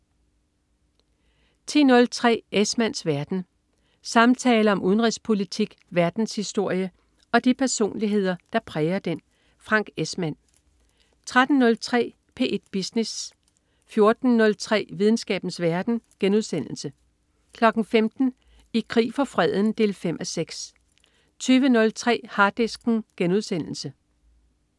10.03 Esmanns verden. Samtaler om udenrigspolitik, verdenshistorie og de personligheder, der præger den. Frank Esmann 13.03 P1 Business 14.03 Videnskabens verden* 15.00 I krig for freden 5:6 20.03 Harddisken*